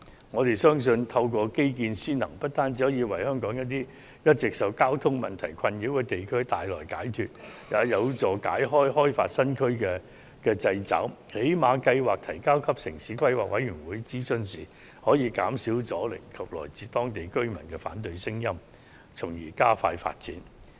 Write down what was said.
我們相信透過基建先行，不單可為香港一些一直受交通問題困擾的地區帶來解決的辦法，也有助擺脫開發新區的掣肘，最低限度在提交計劃予城市規劃委員會進行諮詢時可減少阻力和來自當區居民的反對聲音，從而加快進行發展。